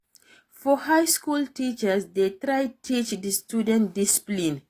For high school teachers de try teach di students discipline